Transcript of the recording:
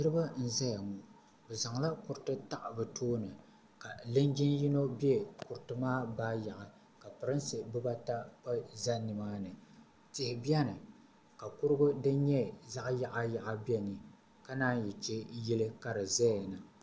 Niriba n zaya ŋɔ bɛ zaŋla kuriti taɣi bɛ tooni ka linjin yino be kuriti maa baayaɣi ka pirinsi bibaata gba za nimaani tihi biɛni ka kurugu din nyɛ zaɣa yaɣa yaɣa la biɛni ka nan yi che yili ka di zaya na.